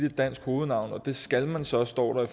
et dansk hovednavn og det skal man så står der